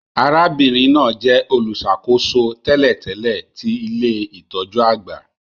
Arábìnrin náà jẹ olùṣàkóso tẹ́lẹ̀tẹ́lẹ̀ ti ilé-itọju àgbà